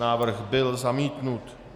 Návrh byl zamítnut.